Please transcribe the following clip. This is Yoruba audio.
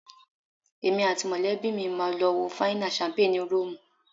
Èmi àti mọ̀lẹ́bí mi máa lọ wo fáínà ṣámpé ni Róòmù